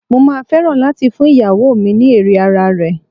Mo máa fẹ́ràn láti fún ìyàwó mi ní Ere ara rẹ̀.